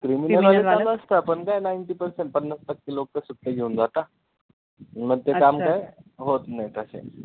ते मध्ये चालू असतं, पण काय ninety percent पन्नास टक्के लोक सुट्टी घेऊन जाता, मग ते काम काय होतं नाहीत असे